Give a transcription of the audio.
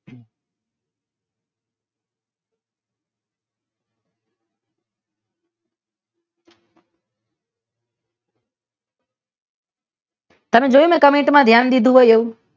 ચાલુ જોયું હોય મે કમેંટ માં ધ્યાન દીધું હોય એવું?